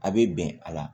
A bɛ bɛn a la